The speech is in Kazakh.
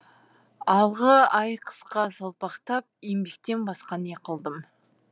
алғы ай қысқа салпақтап еңбектен басқа не қылдым